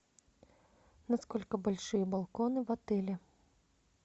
насколько большие балконы в отеле